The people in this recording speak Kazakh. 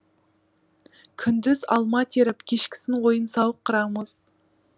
күндіз алма теріп кешкісін ойын сауық құрамыз